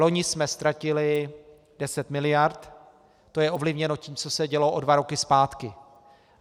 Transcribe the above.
Loni jsme ztratili 10 mld., to je ovlivněno tím, co se dělo o dva roky zpátky.